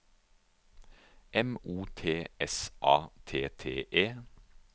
M O T S A T T E